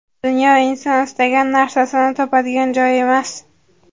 Dunyo inson istagan narsasini topadigan joy emas.